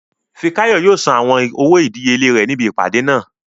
Fikáyọ̀ yóò san àwọn owó ìdíyelé rẹ̀ níbi ìpàdé náà